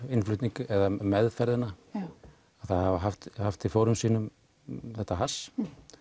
meðferðina að hafa haft haft í fórum sínum þetta hass